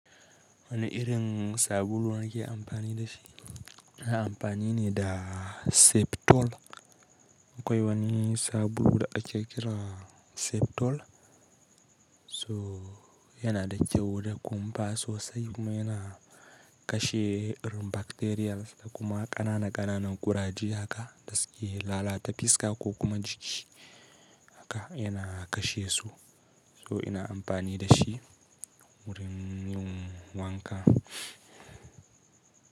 Wani irin sabulu nake amfani da shi, na amfani ne da Septol. Akwai wani sabulu da ake kira Septol, so yana da kyau da kumfa sosai kuma yana kashe irin bacterial da kuma ƙananan ƙananan ƙuraje haka, gaskiya lalata fiska ko kuma jiki haka yana kashe su. So ina amfani da shi wurin yin wanka.